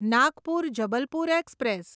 Nagpur Jabalpur express